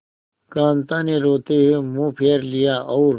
कांता ने रोते हुए मुंह फेर लिया और